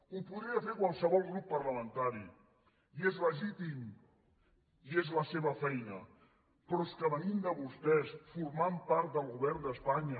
ho podria fer qualsevol grup parlamentari i és legítim i és la seva feina però és que venint de vostès formant part del govern d’espanya